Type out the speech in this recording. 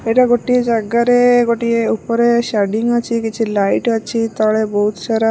ଏଟା ଗୋଟିଏ ଜାଗାରେ ଗୋଟିଏ ଉପରେ ଅଛି କିଛି ଲାଇଟ ଅଛି ତଳେ ବହୁତ ସାରା --